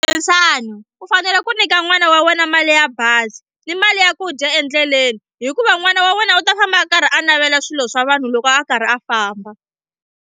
Khensani u fanele ku nyika n'wana wa wena mali ya bazi ni mali ya ku dya endleleni hikuva n'wana wa wena u ta famba a karhi a navela swilo swa vanhu loko a karhi a famba.